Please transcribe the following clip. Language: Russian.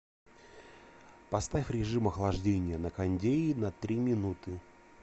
поставь режим охлаждения на кондее на три минуты